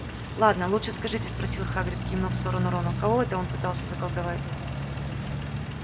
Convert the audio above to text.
ладно лучше скажите спросил хагрид кивнув в сторону рона кого это он пытался заколдовать